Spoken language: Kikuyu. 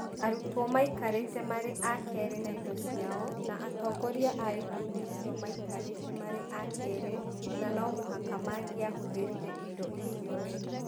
Arutwo maikarĩte marĩ a keerĩ na indo ciao, na atongoria a ikundi icio maikarĩte marĩ a keerĩ na no mũhaka mangĩahũthĩrire indo icio wega.